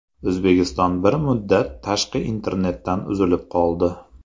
O‘zbekiston bir muddat tashqi internetdan uzilib qoldi.